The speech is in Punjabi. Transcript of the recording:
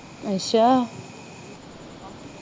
ਅੱਛਾ l